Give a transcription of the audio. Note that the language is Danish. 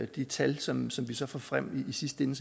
de tal som vi så får frem i sidste ende